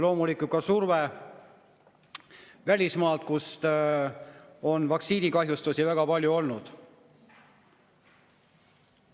Loomulikult ka surve välismaalt, kus on vaktsiinikahjustusi väga palju olnud.